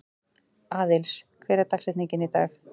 Aðlis, hver er dagsetningin í dag?